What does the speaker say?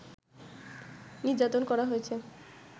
নির্যাতন করা হয়েছে